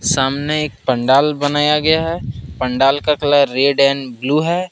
सामने एक पंडाल बनाया गया है पंडाल का कलर रेड एंड ब्ल्यू है।